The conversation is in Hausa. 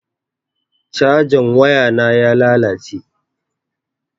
Cajan wayana ya lalace.